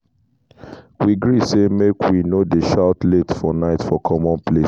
we gree say make we no dey shout late for night for common place.